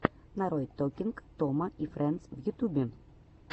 нарой токинг тома и фрэндс в ютюбе